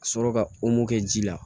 Ka sɔrɔ ka kɛ ji la